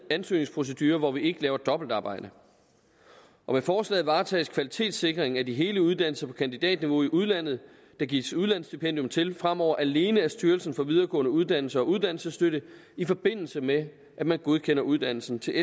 ansøgningsprocedure hvor vi ikke laver dobbeltarbejde og med forslaget varetages kvalitetssikringen af de hele uddannelser på kandidatniveau i udlandet der gives udlandsstipendium til fremover alene af styrelsen for videregående uddannelser og uddannelsesstøtte i forbindelse med at man godkender uddannelsen til